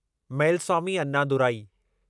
Mylswamy Annadurai